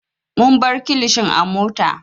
Mun bar kilishin a mota.